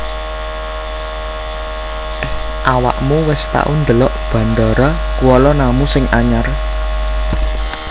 Awakmu wis tau ndelok Bandara Kuala Namu sing anyar